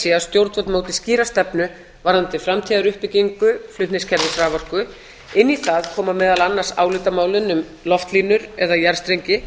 sé að stjórnvöld móti skýra stefnu varðandi framtíðaruppbyggingu flutningskerfis raforku inn í það koma meðal annars álitamálin um loftlínur eða jarðstrengi